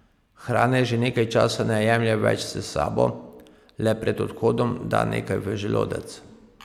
Hrane že nekaj časa ne jemlje več s sabo, le pred odhodom da nekaj v želodec.